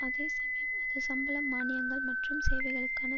அதே சமயம் அது சம்பளம் மானியங்கள் மற்றும் சேவைகளுக்கான